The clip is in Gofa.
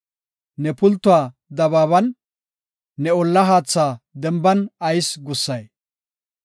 Ne pultuwa dabaaban, ne olla haatha denban ayis gussay?